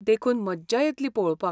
देखून मज्जा येतली पळोवपाक.